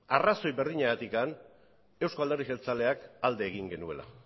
arrazoi berdinagatik eusko alderdi jeltzaleak alde egin genuela